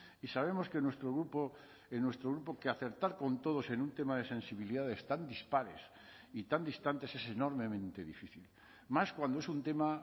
y sabemos que nuestro grupo en nuestro grupo que acertar con todos en un tema de sensibilidades tan dispares y tan distantes es enormemente difícil más cuando es un tema